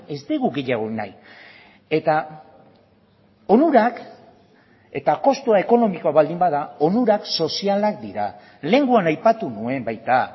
ez dugu gehiago nahi eta onurak eta kostua ekonomikoa baldin bada onurak sozialak dira lehengoan aipatu nuen baita